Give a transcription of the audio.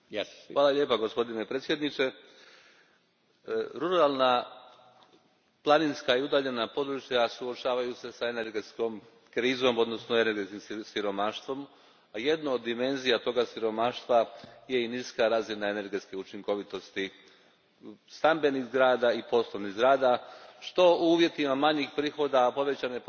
Gospođo predsjednice, ruralna planinska i udaljena područja suočavaju se s energetskom krizom odnosno energetskim siromaštvom, a jedna od dimenzija tog siromaštva je i niska razina energetske učinkovitosti stambenih i poslovnih zgrada što u uvjetima manjih prihoda i povećane potrošnje